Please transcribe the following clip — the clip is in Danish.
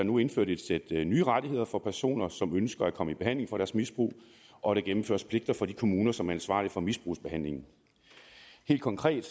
nu indført et sæt nye rettigheder for personer som ønsker at komme i behandling for deres misbrug og der gennemføres pligter for de kommuner som er ansvarlige for misbrugsbehandlingen helt konkret